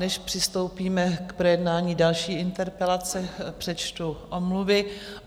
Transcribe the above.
Než přistoupíme k projednání další interpelace, přečtu omluvy.